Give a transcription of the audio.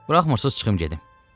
Buraxmırsız, çıxım gedim.